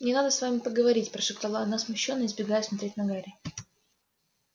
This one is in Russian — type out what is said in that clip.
мне надо с вами поговорить прошептала она смущённо избегая смотреть на гарри